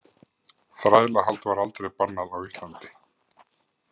Þrælahald var aldrei bannað á Íslandi.